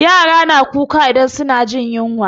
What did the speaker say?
Yara na kuka idan su na jin yunwa